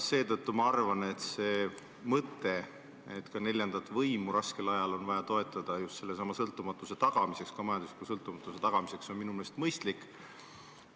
Seetõttu ma arvan, et see mõte, et ka neljandat võimu on raskel ajal vaja toetada just sellesama sõltumatuse tagamiseks, ka majandusliku sõltumatuse tagamiseks, on minu meelest mõistlik.